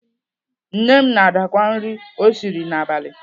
Nne m na-adakwa nri o siri n'abalị.